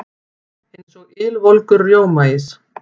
Eins og ylvolgur rjómaís.